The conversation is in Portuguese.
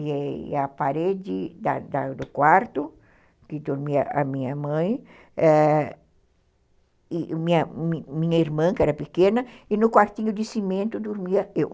E a parede da da do quarto, que dormia a minha mãe, e minha minha irmã, que era pequena, e no quartinho de cimento dormia eu.